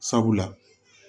Sabula